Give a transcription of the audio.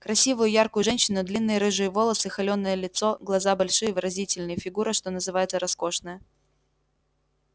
красивую яркую женщину длинные рыжие волосы холеное лицо глаза большие выразительные фигура что называется роскошная